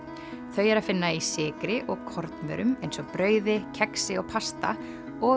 þau er að finna í sykri og kornvörum eins og brauði kexi og pasta og